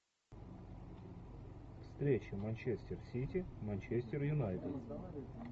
встреча манчестер сити манчестер юнайтед